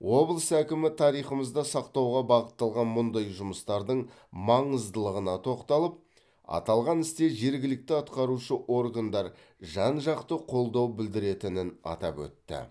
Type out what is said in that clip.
облыс әкімі тарихымызды сақтауға бағытталған мұндай жұмыстардың маңыздылығына тоқталып аталған істе жергілікті атқарушы органдар жан жақты қолдау білдіретінін атап өтті